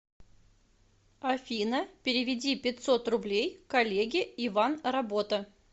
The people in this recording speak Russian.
афина переведи пятьсот рублей коллеге иван работа